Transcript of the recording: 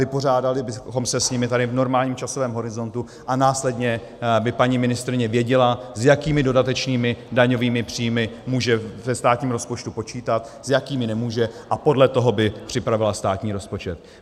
Vypořádali bychom se s nimi tady v normálním časovém horizontu a následně by paní ministryně věděla, s jakými dodatečnými daňovými příjmy může ve státním rozpočtu počítat, s jakými nemůže, a podle toho by připravila státní rozpočet.